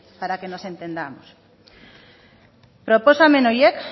para que nos entendamos proposamen horiek